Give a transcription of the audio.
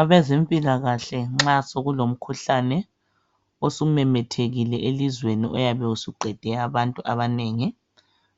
Abezempilakahle nxa sokulomkhuhlane osumemethekile elizweni oyabe usuqede abantu abanengi